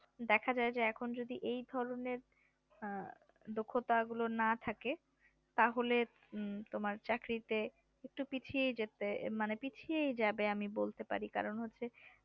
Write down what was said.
দেখা যায় যে এখন যদি এই ধরনের দক্ষতা গুলো না থাকে তাহলে তোমার চাকরিতে একটু পিছিয়ে যেতে মানে পিছিয়ে যাবে আমি বলতে পারি কারণ হচ্ছে